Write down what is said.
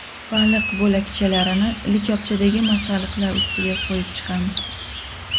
Baliq bo‘lakchalarini likopdagi masalliqlar ustiga qo‘yib chiqamiz.